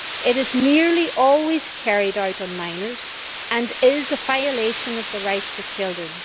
It is nearly always carried out on minors and is a violation of the rights of children.